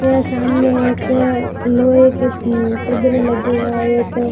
यह सामने एक लोहे के लगे वहां एक--